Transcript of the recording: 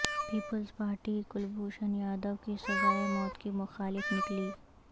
Peoples Party Kulbhushan Yadav کی سزائے موت کی مخالف نکلی